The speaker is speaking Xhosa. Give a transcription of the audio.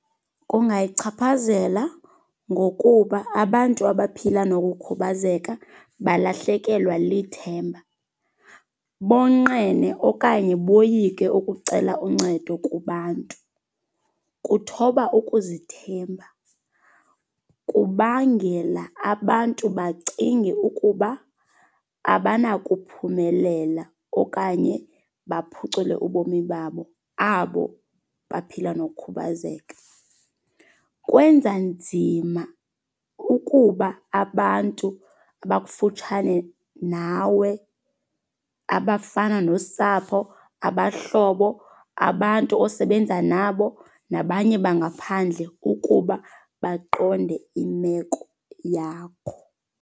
Kungayichaphazela ngokuba abantu abaphila nokukhubazeka balahlekelwa lithemba. Bonqene okanye boyike ukucela uncedo kubantu. Kuthoba ukuzithemba. Kubangela abantu bacinge ukuba abanakuphumelela okanye baphucule ubomi babo abo baphila nokukhubazeka. Kwenza nzima ukuba abantu abakufutshane nawe abafana nosapho, abahlobo, abantu osebenza nabo nabanye bangaphandle ukuba baqonde imeko yakho.